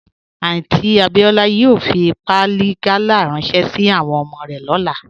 Aunty Abiola yòò fí pàálì gàlà ránṣẹ̀ sí àwọn ọmọ rẹ̀ lọ́lá